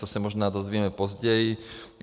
To se možná dozvíme později.